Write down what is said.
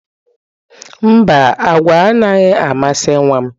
Mba, agwa anaghị amasị nwa m.